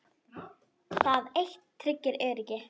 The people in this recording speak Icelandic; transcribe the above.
Það eitt tryggir öryggi.